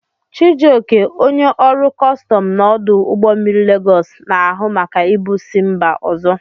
Chijioke, onye ọrụ kọstọm na ọdụ ụgbọ mmiri Legos, na-ahụ maka ibu si mba ozo.